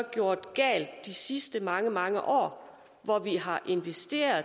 gjort galt de sidste mange mange år hvor vi har investeret